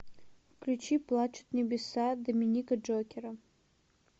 включи плачут небеса доминика джокера